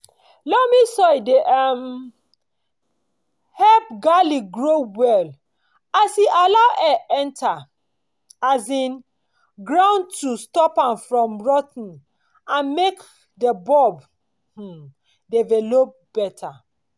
loamy soil dey um help garlic grow well as e allow air enter um groundto stop am from rot ten and make di bulb um develop better.